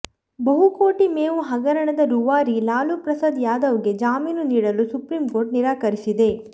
ಬಹುಕೋಟಿ ಮೇವು ಹಗರಣದ ರೂವಾರಿ ಲಾಲೂ ಪ್ರಸಾದ್ ಯಾದವ್ ಗೆ ಜಾಮೀನು ನೀಡಲು ಸುಪ್ರೀಂಕೋರ್ಟ್ ನಿರಾಕರಿಸಿದೆ